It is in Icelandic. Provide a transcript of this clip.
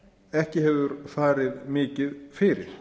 ekki hefur farið mikið fyrir